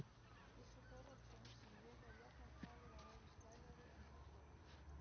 Gissur Þorvaldsson, sem ég hef jafnan talið að væri slægari en höggormur.